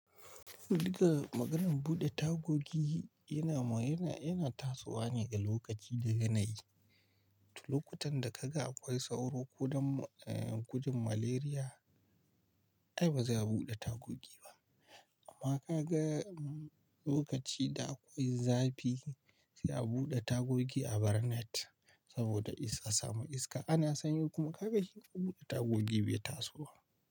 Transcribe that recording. Diga maganan buɗe tagogi yana, yana, yana tasowa ne ga lokaci da yanayi. Lokutan da ka ga akwai sauro ko don gudun malaria, ai ba za a buɗe tagogi ba. Amma ka ga lokaci da akwai zafi, sai a buɗe tagogi a bar net saboda iska samu iska. Ana sanyi kuma ka ga shi buɗe tagogi bai tasowa.